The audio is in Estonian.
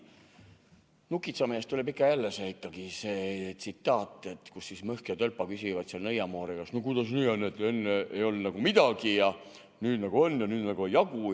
"Nukitsamehest" tuleb ikka ja jälle meelde see tsitaat, kus Mõhk ja Tölpa küsivad nõiamoori käest, et no kuidas nii on, et enne ei olnud midagi ja nüüd nagu on, aga nüüd ei jagu.